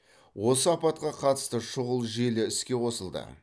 осы апатқа қатысты шұғыл желі іске қосылды